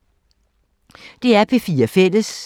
DR P4 Fælles